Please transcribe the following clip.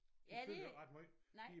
Ja det nej